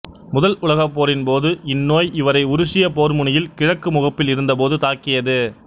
முதல் உலகப்போரின்போது இந்நோய் இவரை உருசிய போர்முனையில் கிழக்கு முகப்பில் இருந்தபோது தாக்கியது